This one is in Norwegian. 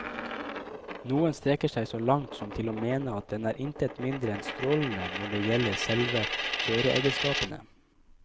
Noen strekker seg så langt som til å mene at den er intet mindre enn strålende når det gjelder selve kjøreegenskapene.